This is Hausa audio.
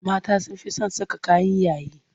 Mata sun fi son saka kayan yayi.